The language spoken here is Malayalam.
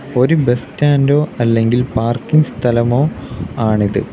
ഒരു ബസ് സ്റ്റാൻഡോ അല്ലെങ്കിൽ പാർക്കിംഗ് സ്ഥലമോ ആണിത്.